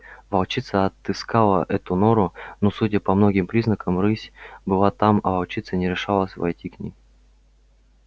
волчица отыскала эту нору но судя по многим признакам рысь была там а волчица не решалась войти к ней